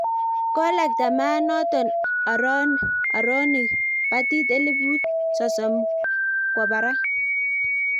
kolakta maat noto aronik patit elupit sosom ko barak